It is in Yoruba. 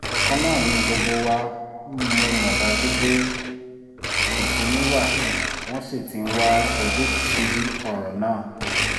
ọ̀kan náà ni gbogbo wa mọ̀ mo dájú pé ìkùnsínú wa wọ́n sì ti ń wá ojútùú sí ọ̀rọ̀ náà